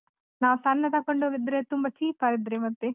ನಾವ್ ಸಣ್ಣದ್ ತಗೊಂಡು ಹೋದ್ರೆ ತುಂಬಾ cheap ಆದ್ರೆ ಮತ್ತೆ .